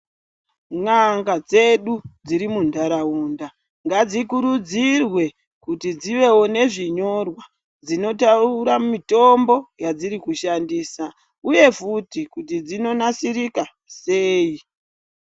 N'anga dzedu dziri muntaraunda ngadzikurudzirwe kuti dzivewo nezvinyorwa zvinotaura mitombo yedziri kushandisa uye futi kuti dzinonasirika sei.